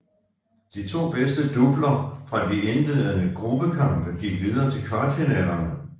De to bedste doubler fra de indledende gruppekampe gik videre til kvartfinalerne